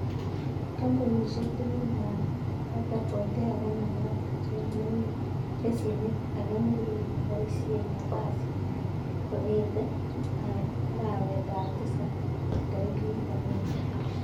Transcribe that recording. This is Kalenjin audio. Kampunisiek tugul ab pata potea komakat kocheng lesienit ake nelel neboisie eng kasit nywon kongete arawet ab tisabi tarikit aenge.